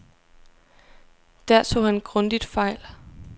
Der tog han grundigt fejl.